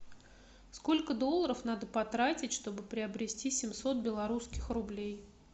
сколько долларов надо потратить чтобы приобрести семьсот белорусских рублей